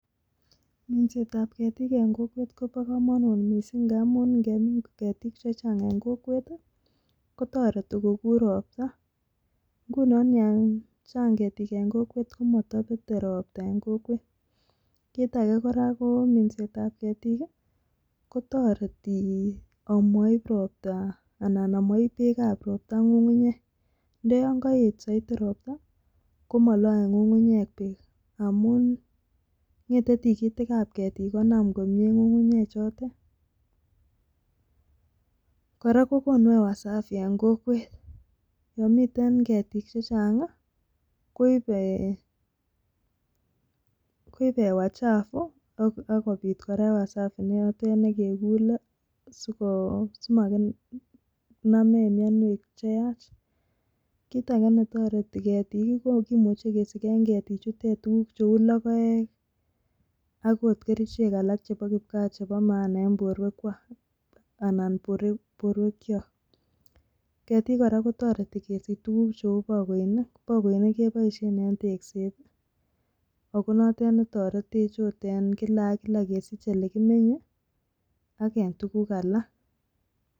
Minset ab ketik en kokwet Kobo komonut missing ngamun ngemin ketik che Chang en kokwet tii kotoreti kokur ropta. Nguno yo Chang Ketik en kokwet komotopete ropta en kokwet, kit age koraa ko minsetab Ketik kiii kitoretii omoib ropta anan omoib beek ab ropta ngungunyek. Ndo yon koet soiti ropta komoole ngungunyek beek amun ngetet tikitik ab ketik konam komie ngungunyek chotet. Koraa kokonu ewa safi en kokwet yon miten ketik che Changi koibee koibe ewa chafu ako akopit Koraa ewa safi ne notet nekekule sikoo simanamech mionwek che yach. Kit age netoreti ketiki kimuche kesiken ketik chutet tukuk cheu lokoek ak ot kerichek alak chebo kipkaa chebo maana en borwek kwak anan borwek kyok. Ketik Koraa ko toreti kesiche tukuk cheu bokoinik, bokoinik keboisen en tekset tii ako notet netoretech ot en kila ak kila kesiche olekimenye ak en tukuk alak.